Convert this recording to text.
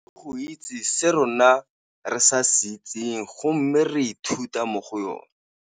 Go itse se rona re sa se itseng go mme re ithuta mo go yone.